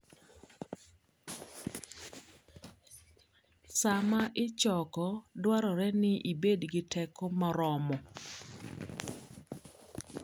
Sama ichoko, dwarore ni ibed gi teko moromo.